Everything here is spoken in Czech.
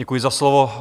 Děkuji za slovo.